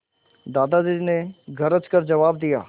दादाजी ने गरज कर जवाब दिया